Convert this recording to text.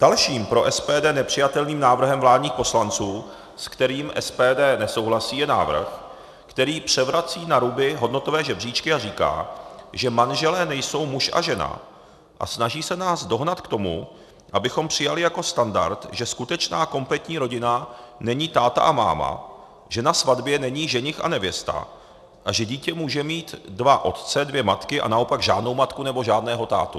Dalším pro SPD nepřijatelným návrhem vládních poslanců, se kterým SPD nesouhlasí, je návrh, který převrací na ruby hodnotové žebříčky a říká, že manželé nejsou muž a žena, a snaží se nás dohnat k tomu, abychom přijali jako standard, že skutečná kompletní rodina není táta a máma, že na svatbě není ženich a nevěsta a že dítě může mít dva otce, dvě matky, a naopak žádnou matku nebo žádného tátu.